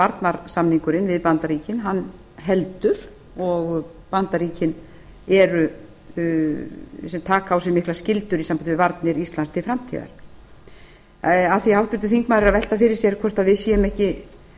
varnarsamningurinn við bandaríkin heldur og bandaríkin sem taka á sig miklar skyldur í sambandi við varnir íslands til framtíðar af því að háttvirtur þingmaður er að velta fyrir sér hvort við séum bara